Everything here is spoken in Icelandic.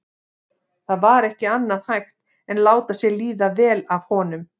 Það var ekki annað hægt en láta sér líða vel af honum.